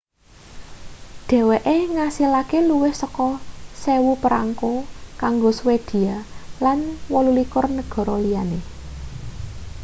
dheweke ngasilake luwih saka 1.000 perangko kanggo swedia lan 28 negara liyane